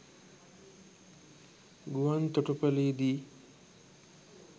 ගුවන් තොටුපළේදී